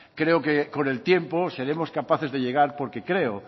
creo que con el tiempo seremos capaces de llegar porque creo